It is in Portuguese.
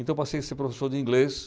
Então, eu passei a ser professor de inglês.